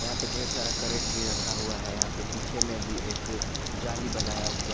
यहां पे ढेर सारा क्रेट भी रखा हुआ है यहां पे पीछे में भी एक जाली बनाया हुआ है।